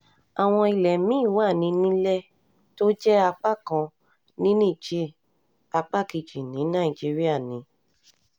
àwọn ilé mi-ín wà ní nílée tó jẹ́ apá kan ní níjẹ̀ẹ́ apá kejì ní nàìjíríà ni